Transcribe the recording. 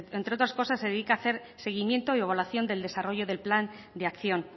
entre otras cosas se dedica a hacer seguimiento y evaluación del desarrollo del plan de acción